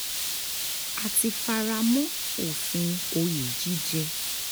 a ti fara mọ́ òfin òye jíjẹ́